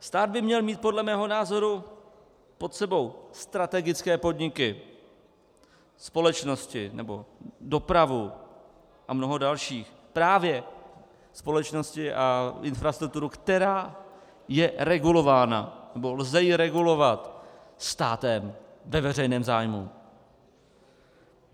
Stát by měl mít podle mého názoru pod sebou strategické podniky, společnosti nebo dopravu a mnoho dalších, právě společnosti a infrastrukturu, která je regulována nebo ji lze regulovat státem ve veřejném zájmu.